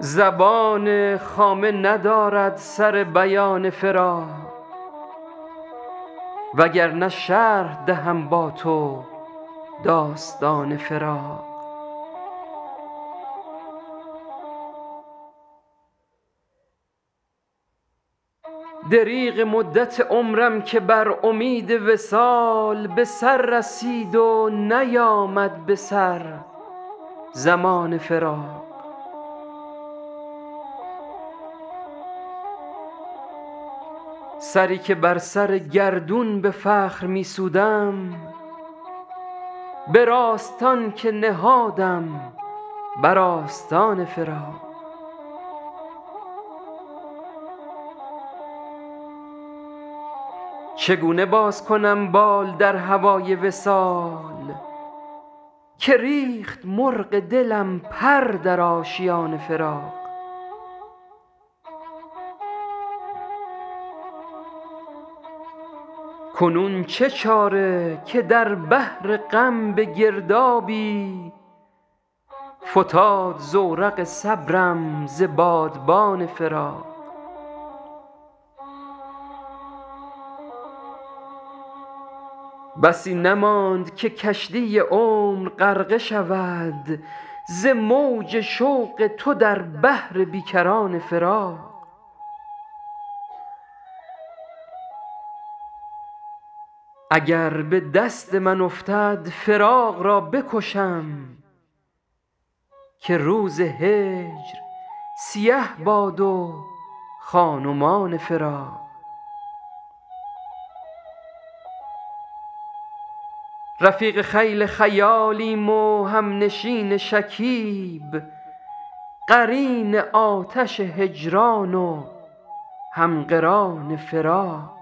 زبان خامه ندارد سر بیان فراق وگرنه شرح دهم با تو داستان فراق دریغ مدت عمرم که بر امید وصال به سر رسید و نیامد به سر زمان فراق سری که بر سر گردون به فخر می سودم به راستان که نهادم بر آستان فراق چگونه باز کنم بال در هوای وصال که ریخت مرغ دلم پر در آشیان فراق کنون چه چاره که در بحر غم به گردابی فتاد زورق صبرم ز بادبان فراق بسی نماند که کشتی عمر غرقه شود ز موج شوق تو در بحر بی کران فراق اگر به دست من افتد فراق را بکشم که روز هجر سیه باد و خان و مان فراق رفیق خیل خیالیم و همنشین شکیب قرین آتش هجران و هم قران فراق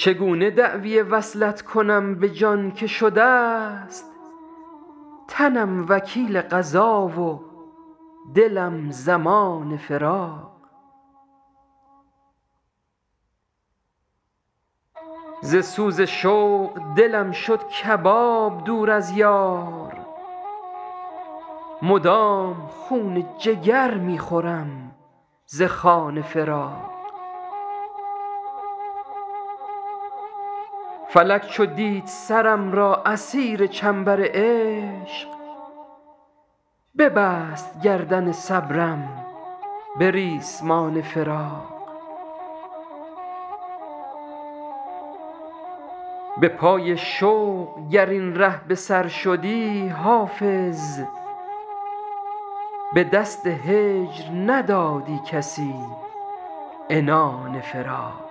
چگونه دعوی وصلت کنم به جان که شده ست تنم وکیل قضا و دلم ضمان فراق ز سوز شوق دلم شد کباب دور از یار مدام خون جگر می خورم ز خوان فراق فلک چو دید سرم را اسیر چنبر عشق ببست گردن صبرم به ریسمان فراق به پای شوق گر این ره به سر شدی حافظ به دست هجر ندادی کسی عنان فراق